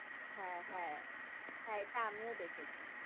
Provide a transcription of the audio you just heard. হ্যাঁ হ্যাঁ, হ্যাঁ এটা আমিও দেখেছি।